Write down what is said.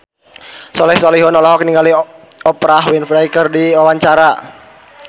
Soleh Solihun olohok ningali Oprah Winfrey keur diwawancara